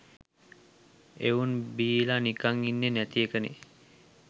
එවුන් බීල නිකන් ඉන්නෙ නැති එකනෙ